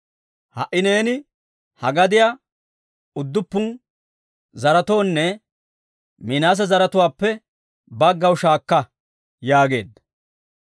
Ha"i neeni ha gadiyaa udduppun zaretoonne Minaase zaratuwaappe baggaw shaakka» yaageedda.